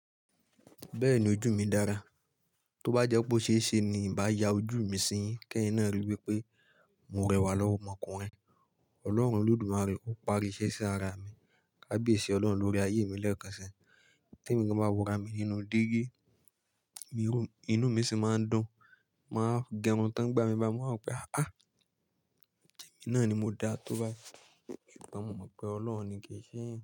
Bẹ́ẹ̀ni ojú mi dára, tó bá jẹ́ pé ó ṣeéṣe ni ń bá ya ojú mi sì yín, kí ẹ̀yin náà ríi wípé mo rẹwà lọ́mọ ọmọkùnrin. Ọlọ́run Olódùmarè ó pari iṣẹ́ sí ara mi, kabiyesi Ọlọ́run lórí ayé mi lẹ́ẹ̀kọ̀sẹ́. Ì tí ẹ̀yin gan bá wura mi nínú dígí, inú mi sì máa ń dùn, màá gẹrun tán ìgbà mi máa mọ̀ pé, à, ṣèmi náà ni mo dá tó bá yí, wọn mọ̀ pé Ọlọ́run ni ké í ṣe èyàn.